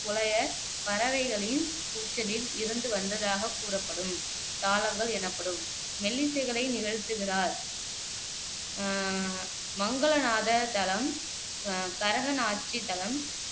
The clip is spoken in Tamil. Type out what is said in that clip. புலயர், பறவைகளின் கூச்சலில் இருந்து வந்ததாகக் கூறப்படும் தாளங்கள் எனப்படும் மெல்லிசைகளை நிகழ்த்துகிறார். அஹ் மங்களநாத தலம், கரகநாச்சி தலம்